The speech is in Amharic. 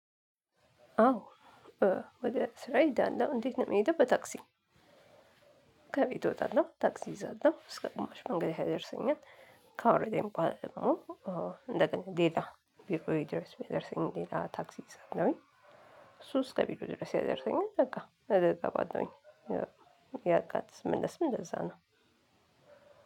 አዎ ወደ ስራ እሄዳለሁ እንዴት ነው የምንሄደው? በታክሲ ከቤት እወጣለሁ ታክሲ እዛለሁ እስከ ግማሽ መንገድ ያደርሰኛል። ካወረደኝ ቦኃላ ደግሞ እንደ ግዴታ ቢሮ ድረስ የምያደርሰኝ ሌላ ታክሲ ይዛለውኝ እሱ እስከ ቢሮ ድረስ ያደርሰኛል። በቃ እገባለሁኝ። ያ ስመለስም ምን እንደዛ ነው።